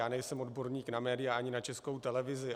Já nejsem odborník na média, ani na Českou televizi.